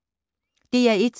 DR1